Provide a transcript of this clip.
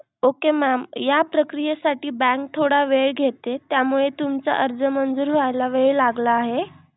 Okay mam या प्रक्रियेसाठी bank थोडा वेळ घेते त्यामुळे तुमचा अर्ज मंजूर होयला वेळ लागला आहे.